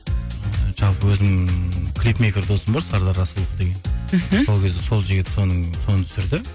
жалпы өзім клипмейкер досым бар сардар асылов деген мхм сол кезде сол жігіт соның соны түсірді